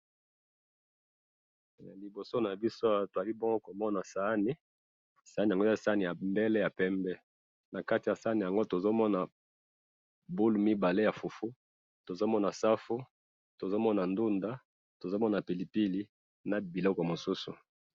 Liboso nabiso awa tozalibongo komona saani, saani yango eza saani yamundele yapembe, nakati yasaani yango tozomona boule mibale ya fufu, tozomona safu, tozomona ndunda, tozomona pilipili, na biloko mosusu